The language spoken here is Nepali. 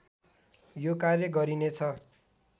यो कार्य गरिनेछ